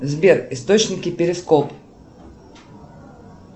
сбер источники перископ